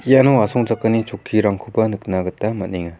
iano asongchakani chokkirangkoba nikna gita man·enga.